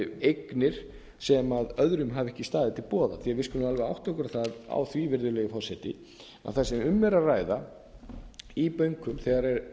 eignir sem öðrum hafa ekki staðið til boða við skulum alveg átta okkur á því virðulegi forseti að það sem um er að ræða í bönkum þegar um